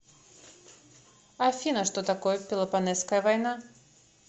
афина что такое пелопоннесская война